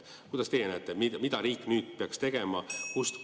Kuidas teie näete, mida riik nüüd peaks tegema?